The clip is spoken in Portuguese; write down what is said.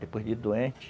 Depois de doente.